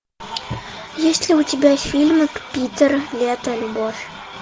есть ли у тебя фильмик питер лето любовь